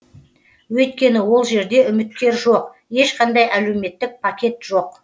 өйткені ол жерде үміткер жоқ ешқандай әлеуметтік пакет жоқ